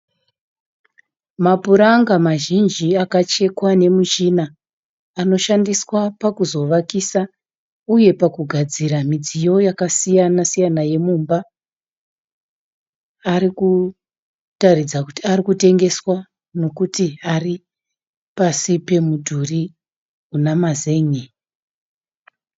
Mupuranga mazhinji akachekwa nemuchina. Anoshandiswa pakuzovakiswa uye pakugadzira midziyo yakasiyana siyana yemumba. Arikuratidza kuti arikutengeswa nekuti pasi pamudhuri unamazen'e